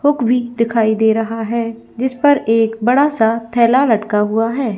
Hook भी दिखाई रहा है जिसपर एक बड़ा सा थैला लटका हुआ है।